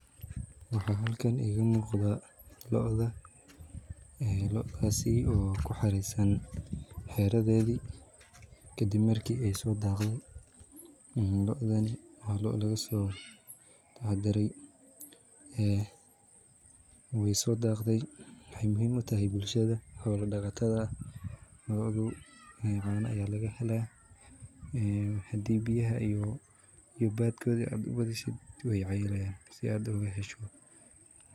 Waxa halkan iga muqda lo'da, loodasi oo kuxareysan xiradeedi kadib marki ayso dhaqde, lo'dan waa lo lisku dhax dare ee wayso dhaqde waxay muhiim utahay bulshada xola dhaqatada, lo'da caana aya laga helaya ee hadi biyaha iyo badkoodi ad uwada uheshid way cayilayan si ad oga hesho